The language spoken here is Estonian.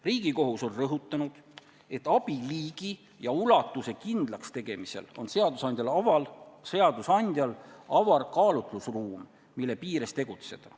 Riigikohus on rõhutanud, et abi liigi ja ulatuse kindlakstegemisel on seadusandjal avar kaalutlusruum, mille piires tegutseda.